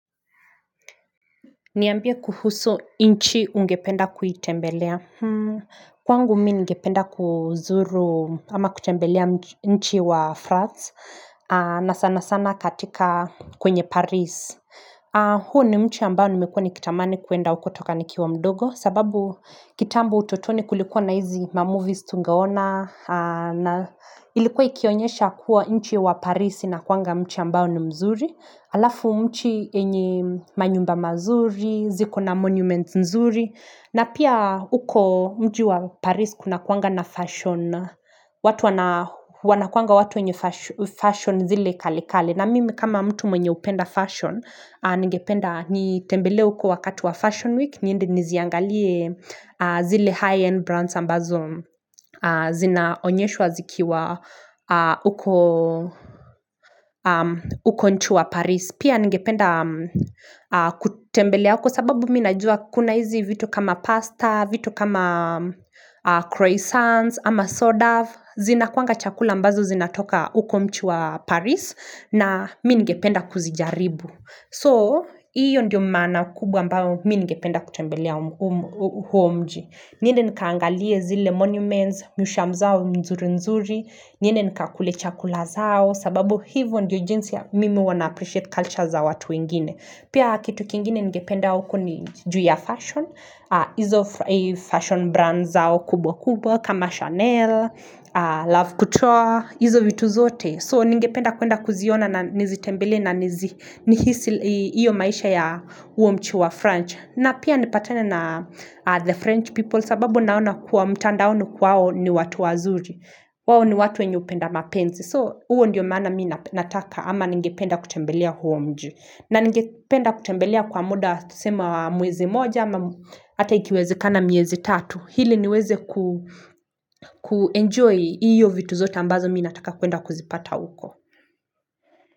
Niambie kuhusu nchi ungependa kuitembelea Kwangu mimi ningependa kuzuru ama kutembelea nchi wa France na sana sana katika kwenye Paris huu ni nchi ambao nimekuwa nikitamani kuenda huko kutoka nikiwa mdogo kwa sababu kitambo utotoni kulikuwa na hizi ma movies tungeona na ilikuwa ikionyesha kuwa nchi wa Paris inakuwanga nchi ambao ni mzuri alafu nchi yenye manyumba mazuri, ziko na monument nzuri na pia huko mji wa Paris kuna kuwanga na fashion watu wanakuanga watu enye fashion zile kali kali na mimi kama mtu mwenye hupenda fashion ningependa nitembele huko wakati wa fashion week Niziangalie zile high-end brands ambazo zina onyeshwa zikiwa uko nchi wa Paris Pia ngependa kutembelea uko sababu minajua kuna hizi vito kama pasta, vito kama croissants ama soda Zinakuwanga chakula ambazo zinatoka huko nchi wa Paris na mimi ningependa kuzijaribu So, hiyo ndiyo maana kubwa ambao mimi ningependa kutembelea huo mji. Niende nikaangalie zile monuments, miusham zao nzuri-nzuri, niende nikakule chakula zao, sababu hivyo ndiyo jinsi ya mimi huwa na-appreciate culture za watu wengine. Pia kitu kingine ningependa huko ni juu ya fashion, hizo fashion brand zao kubwa-kubwa kama Chanel, Love Couture, hizo vitu zote. So, ningependa kuenda kuziona na nizitembelee na nihisi iyo maisha ya huo mji wa French. Na pia nipatane na the French people sababu naona kwa mtandaoni kwao ni watu wazuri. Wao ni watu wenye hupenda mapenzi. So, huo ndiyo maana mimi nataka ama ningependa kutembelea huo mji. Na ningependa kutembelea kwa muda tuseme mwezi moja ama hata ikiwezekana mwezi tatu. Ili niweze kuenjoy hiyo vitu zote ambazo mimi nataka kuenda kuzipata uko.